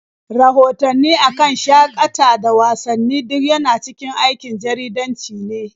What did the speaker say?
Rahotanni a kan shaƙata da wasanni duk yana cikin aikin jaridanci ne.